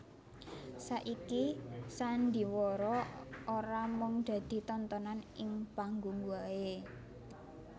Saiki sandhiwara ora mung dadi tontonan ing panggung wae